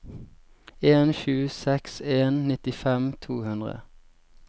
en sju seks en nittifem to hundre